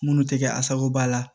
Minnu tɛ kɛ asakoba la